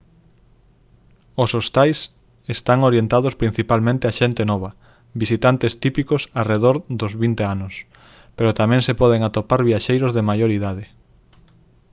os hostais están orientados principalmente á xente nova visitantes típicos arredor dos 20 anos pero tamén se poden atopar viaxeiros de maior idade